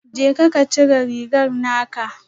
Jeka ka cire rigar naka